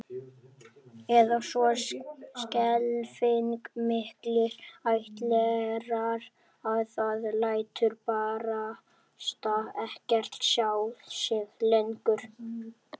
Eða svo skelfing miklir ættlerar að það lætur barasta ekkert sjá sig lengur